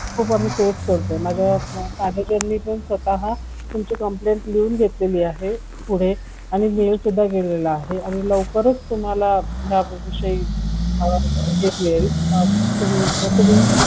आम्ही face करतोय तुमची माझ्या manager ने पण स्वतः तुमची complaint लिहून घेतली आहे पुढे आणि वेळ सुद्धा दिलेला आहे आणि लवकरच तुम्हाला याविषयी हे मिळेल messages